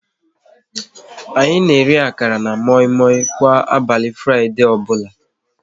Anyị na-eri akara na moi moi kwa abali Fraịdee ọbụla